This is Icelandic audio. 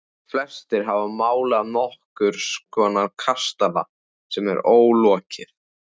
Flestir hafa málað nokkurs konar kastala sem er ólokið.